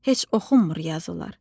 Heç oxunmur yazılar.